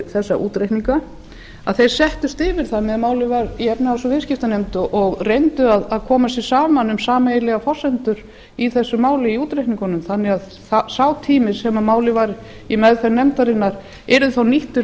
þessa útreikninga að eir settust yfir það meðan málið var í efnahags og viðskiptanefnd og reyndu að koma sér saman um sameiginlegar forsendur í þessu máli í útreikningunum þannig að sá tími sem málið var í meðferð nefndarinnar yrði þá nýttur